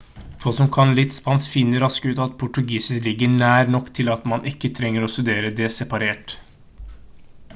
folk som kan litt spansk finner raskt ut at portugisisk ligger nær nok til at man ikke trenger å studere det separat